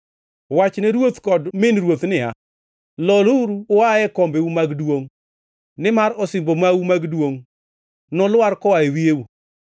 Wachne ruoth kod min ruoth niya, “Loruru uaye kombeu mag duongʼ, nimar osimbo mau mag duongʼ nolwar koa e wiyeu.”